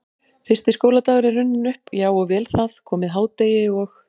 Fyrsti skóladagur er runninn upp, já og vel það, komið hádegi og